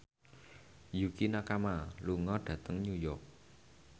Yukie Nakama lunga dhateng New York